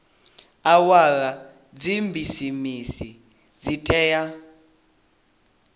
awara dza bisimisi dzi tea